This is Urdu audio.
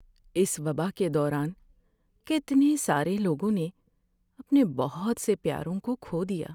اس وبا کے دوران کتنے سارے لوگوں نے اپنے بہت سے پیاروں کو کھو دیا۔